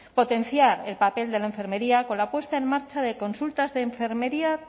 potenciar el papel de la enfermería con la puesta en marcha de consultas de enfermería